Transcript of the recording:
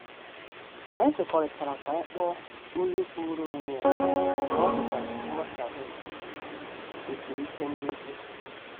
Anyị kwekọrịtara ka anyị kpọọ oyi kwuru onwe ya mgbe ọ dịka nghotaghie esiri ike ndozi.